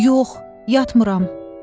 Yox, yatmıram.